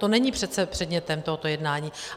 To není přece předmětem tohoto jednání.